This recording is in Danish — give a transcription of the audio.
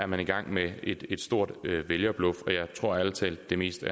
man i gang med et stort vælgerbluff jeg tror ærlig talt mest